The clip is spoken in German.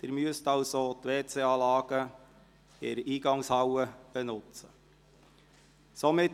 Folglich werden Sie die Toilettenanlagen in der Rathaushalle benützen müssen.